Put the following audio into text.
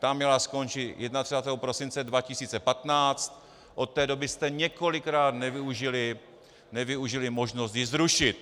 Ta měla skončit 31. prosince 2015, od té doby jste několikrát nevyužili možnost ji zrušit.